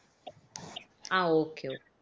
ஆஹ் okay